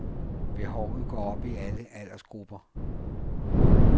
Behovet går op i alle aldersgrupper.